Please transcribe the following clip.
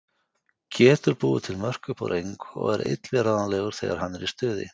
Getur búið til mörk upp úr engu og er illviðráðanlegur þegar hann er í stuði.